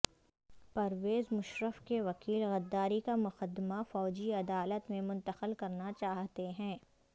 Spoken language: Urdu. پرویز مشرف کے وکیل غداری کا مقدمہ فوجی عدالت میں منتقل کرنا چاہتے ہیں